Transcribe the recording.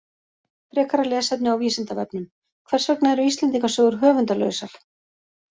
Frekara lesefni á Vísindavefnum: Hvers vegna eru Íslendingasögur höfundarlausar?